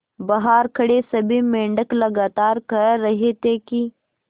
बहार खड़े सभी मेंढक लगातार कह रहे थे कि